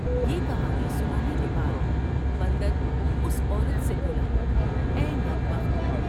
یہ کہانی سنانے کے بعد بندراس عورت سے بولا''اے نیک بخت!